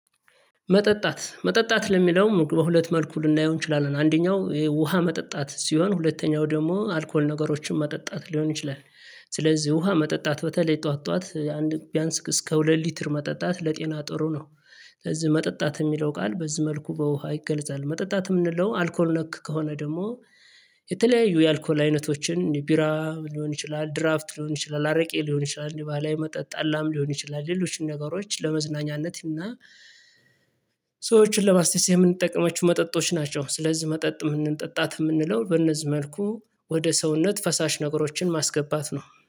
መጠጣት መጠጣት ለሚለው በሁለት መልኩ ልናየው እንችላለን አንደኛው ውሃ መጠጣት ሲሆን ሁለተኛው ደግሞ አልኮል ነገሮችን መጠጣት ሊሆን ይችላል። ስለዚህ ውሃ መጠጣት በተለይ ጠዋት ጠዋት አንድ ቢያንስ እስከ ሁለት ሊትር መጠጣት ለጤና ጥሩ ነው። ስለዚህ መጠጣት የሚለው ቃል በዚህ መልኩ በውሃ ይገለጻል። መጠጣት የምንለው አልኮል ነክ ከሆነ ደግሞ። የተለያዩ የአልኮል አይነቶችን ቢራ ሊሆን ይችላል ድራፍት ሊሆን ይችላል አረቄ ሊሆን ይችላል እንዲህ ባለ መጠጥ ጠላም ሊሆን ይችላል ሌሎችን ነገሮች ለመዝናኛነት እና ሰዎችን ለማስተሳሰብ የምንጠቀማቸው መጠጦች ናቸው። ስለዚህ መጠጥ የምንጠጣት የምንለው በእነዚህ መልኩ ወደ ሰውነት ፈሳሽ ነገሮችን ማስገባት ነው